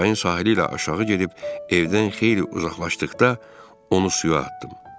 Çayın sahili ilə aşağı gedib evdən xeyli uzaqlaşdıqda onu suya atdım.